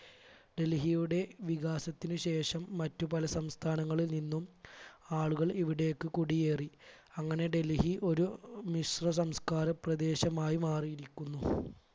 ഡൽഹിയുടെ വികാസത്തിന് ശേഷം മറ്റു പല സംസ്ഥാനങ്ങളിൽ നിന്നും ആളുകൾ ഇവിടേക്ക് കുടിയേറി അങ്ങനെ ഡൽഹി ഒരു മിശ്ര സംസ്കാരപ്രദേശമായി മാറിയിരിക്കുന്നു.